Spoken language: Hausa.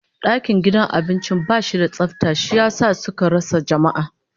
Dakin girkin gidan abincin bashi da tsafta, shi yasa suka rasa jama'a